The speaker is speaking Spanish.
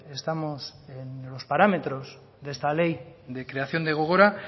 estamos en los parámetros de esta ley de creación de gogora